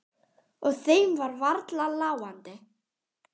Og þeim var varla láandi.